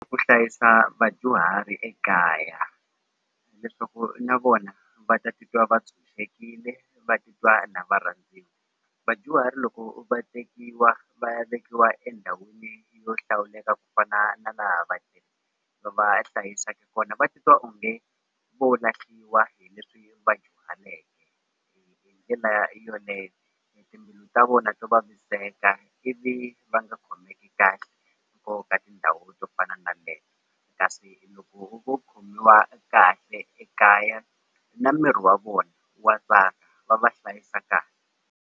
Ku hlayisa vadyuhari ekaya leswaku na vona va ta titwa va tshunxekile va titwa na varhandziwa vadyuhari loko va tekiwa va ya vekiwa endhawini yo hlawuleka ku fana na laha va va hlayisaka kona va titwa onge vo lahliwa hi leswi vadyuhaleke hi ndlela ya yoleyo timbilu ta vona to vaviseka ivi va nga khomeki kahle hi ko ka tindhawu to fana na leyo kasi loko vo khomiwa kahle ekaya na miri wa vona wa tsaka va va hlayisa kahle